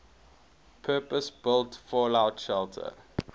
purpose built fallout shelter